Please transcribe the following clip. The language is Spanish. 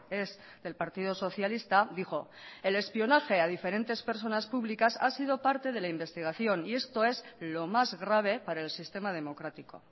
es del partido socialista dijo el espionaje a diferentes personas públicas ha sido parte de la investigación y esto es lo más grave para el sistema democrático